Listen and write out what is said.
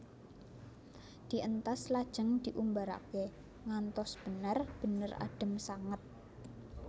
Dientas lajeng diumbaraké ngantos bener bener adhem sanget